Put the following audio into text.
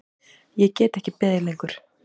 Ég get ekki beðið lengur.